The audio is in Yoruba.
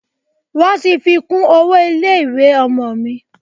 Wọ́n ti fi kún owó ilé ìwé ọmọ mi.